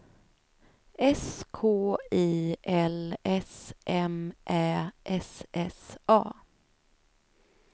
S K I L S M Ä S S A